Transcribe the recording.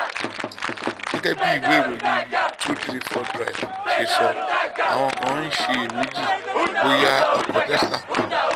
gẹ́gẹ́ bí ìwé ìròyìn two three four drive ṣe sọ àwọn kan ń ṣiyèméjì bóyá ọkọ̀ tesla kan